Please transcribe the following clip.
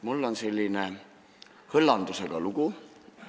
Mul on selline hõllandusega lugu.